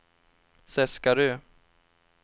Seskarö